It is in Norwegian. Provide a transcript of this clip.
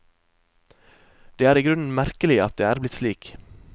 Det er i grunnen merkelig at det er blitt slik.